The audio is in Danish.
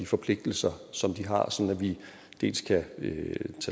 forpligtelser som de har sådan at vi dels kan ved